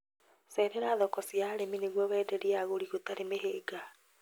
Cerera thoko cia arĩmi nĩguo wenderie agũri gũtari mĩhĩnga